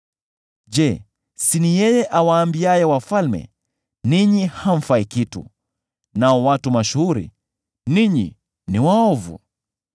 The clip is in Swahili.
Je, si ni yeye awaambiaye wafalme, ‘Ninyi hamfai kitu,’ nao watu mashuhuri, ‘Ninyi ni waovu,’